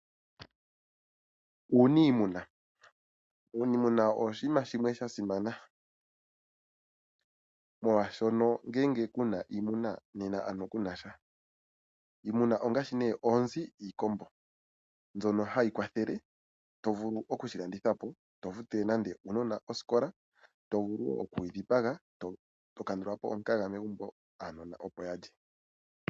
Uuniimuna owo oshinima shasimana molwaashono ngele kuna iimuna, nena kunasha. Iimuna ongaashi oonzi, iikombo mbyono hayi kwathele mokufutila uunona oosikola ngele yalandithwapo, otovulu woo okuyidhipaga eto kandulapo omukaga opo uunona wulye.